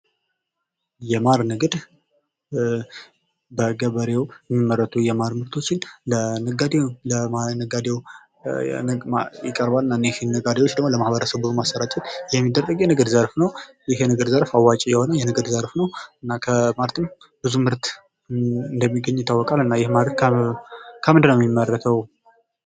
የማር ንግድ በገበሬዉ የሚመረቱ የማር ምርቶችን ለነጋዴዉ ይቀርባል። እነዚህ ነጋዴዎች ደግሞ ለማህበረሰቡ በማሰራጨት የንግድ ዘርፍ ነዉ። ይህ የንግድ ዘርፍ አዋጭ የሆነ የንግድ ዘፍር ነዉ። እና ከማር ምርት ብዙ ምርት እንደሚገኝ ይታወቃል። እና ይሄ ማር ከምንድን ነዉ የሚመረተዉ?